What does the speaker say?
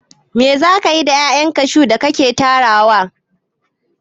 Me za kayi da 'ya'yan kashu da ka ke tarawa?